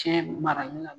Cɛ marali la